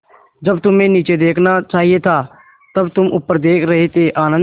जब तुम्हें नीचे देखना चाहिए था तब तुम ऊपर देख रहे थे आनन्द